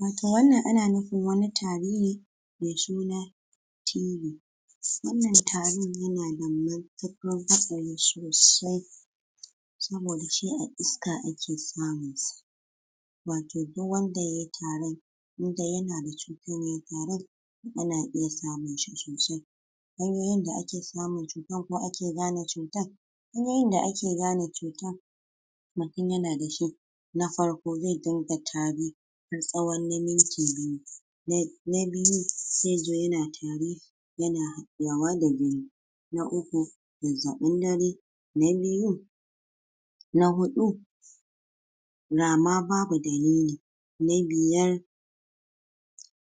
wato wannan ana nufin wani tari ne mai suna TB wan nan tarin yana da matukan hatsari sosai sabo da shi a iska ake samun sa wato duk wanda yayi tarin indai yana da cutan mai tarin yana iya samun shi sosai hanyoyin da ake samun shi kuma ake gane cutan hanyoyin da ake gane cutan mutun yana da shi na farko mutun zai rinka tari tsahon na minti biyu na biyu zai zo yana tari yana dadawa da gani na uku zazzabin dare, na biyu na hudu rama babu dalili da biyar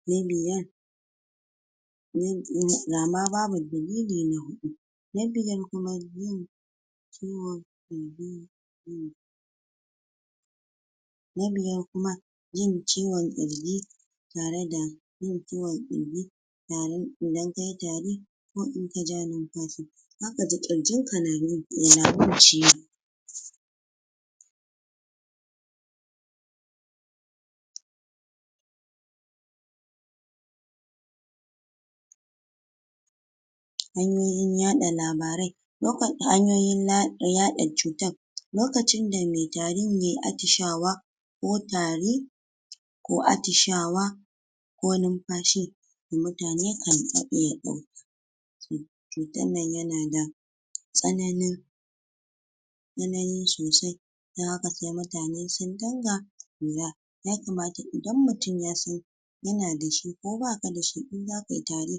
na biyar rama babu dalili na hudu na biyar kuma, yin kiwo na biyar kuma, yin kiwon girji dare da yin ciwon kirji tarin idan kayi, tari ko in ka ja infashi zaka ji kirjin ka nama ciwo hanyoyin yada labarai na fadi hanyoyin yada cutan lokacin da mai tarin yayi atishawa ko tari ko atishawa ko ninfashi da mutane kan iya dauka cutan nan yana da tsananin tsanani sosai dan haka sai mutane sun dinga lura yakamata idan mutun yasan yana da shi ko baka da shi in zaka yi tari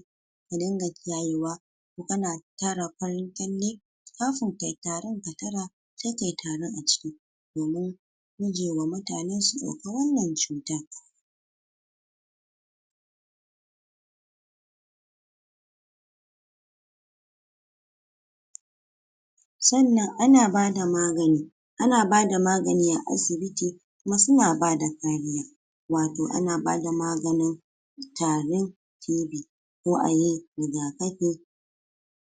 ka ringa kiyayewa in kana tara farin kyalle kafin yayi tarin ka tara sai kayi tarin a ciki domin gujewa mutane su dauki wan nan cutan san nan ana bada magani ana bada magani a asibiti kuma suna bada kariya wato ana bada maganin tari TB ko ayi rigakafi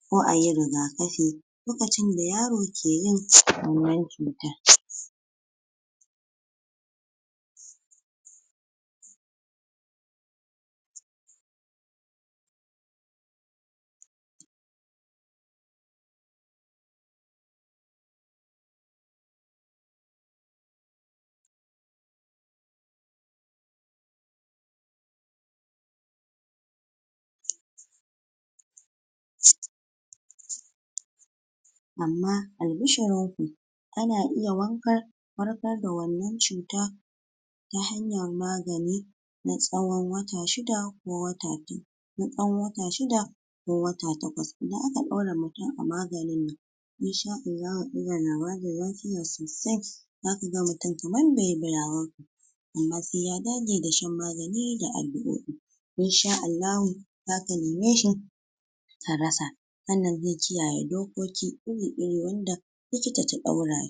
Ko ayi rigakafi lokacin da yaro ke yin wan nan cuta amma albishirin ku ana iya wankan, warkar da wan nan cutan ta hanyan magani na tsawon wata shida ko wata biyu na dan wata shida ko wata takwas, idan aka dora mutun a maganin nan In sha Allahu inda labari na shine zaka ga mutun kaman baiyiba ya war ke amma sai ya dage da shan magani da allurai in sha Allahu zaka nemeshi ka rasa, san nan zai kiyaye dokoki iri, iri wanda wanda likita ta daurashi